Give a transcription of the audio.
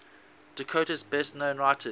dakota's best known writers